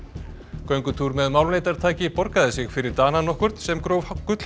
göngutúr með borgaði sig fyrir Dana nokkurn sem gróf